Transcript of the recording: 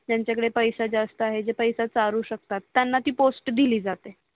त्यांच्या कडे पैसा जास्त आहे जे पैसा चारू शकतात त्यांना ती पोस्ट दिली जाते